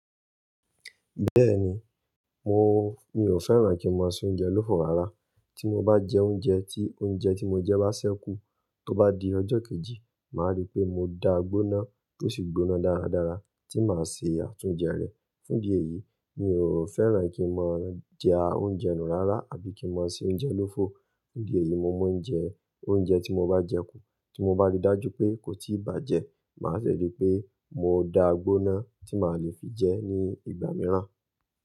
Bẹ́ẹ̀ni, mo-- mi ò fẹ́ràn e kí n máa se oúnjẹ lófo rárá. Tí mo bá jẹ oúnjẹ, tí oúnjẹ tí mo jẹ bá ṣẹ́kù, tó bá di ọjọ́ kejì, màá rí pé mo dáa gbóná tó sì gbóná dáradára tí màá ṣe àtúnjẹ rẹ̀. Fún ìdí èyí, mi ò fẹ́ràn kí n máa jẹ oúnjẹ nù rárá àbí kí n máa se oúnjẹ lófo. Ní ìdí èyí, mo mú oúnjẹ, oúnjẹ tí mo bá jẹ kù. Tí mo bá rí dájú pé kò tíì bàjẹ́, màá sì rí pé mo dáá gbóná tí màá lè fi jẹ ní ìgbà mìíràn.